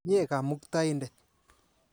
Mye Kamutaindet.